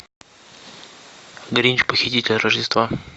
гринч похититель рождества